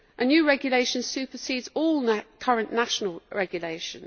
A new regulation supersedes all current national regulation.